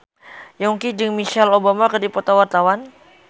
Yongki jeung Michelle Obama keur dipoto ku wartawan